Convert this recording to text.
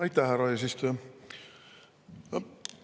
Aitäh, härra eesistuja!